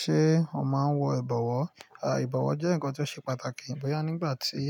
Ṣé o máa ń wọ ìbọ̀wọ́? Àì ìbọ̀wọ́ jẹ́ ǹkan tó ṣe pàtàkì bóyá nígbà tí